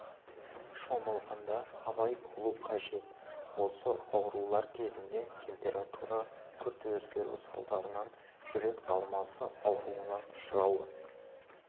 шомылғанда абай болу қажет осы аурулар кезінде температура күрт өзгеру салдарынан жүрек талмасы ауруына ұшырауы